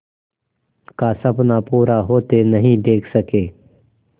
का सपना पूरा होते नहीं देख सके